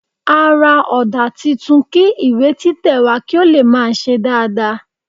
A ra òdà titun kí ìwé títẹ̀ wà kí ó lè máa se dáadáa